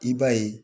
I b'a ye